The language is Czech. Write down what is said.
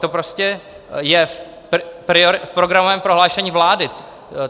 To prostě je v programovém prohlášení vlády.